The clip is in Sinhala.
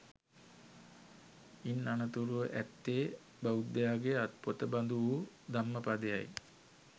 ඉන් අනතුරුව ඇත්තේ බෞද්ධයාගේ අත්පොත බඳු වූ ධම්මපදය යි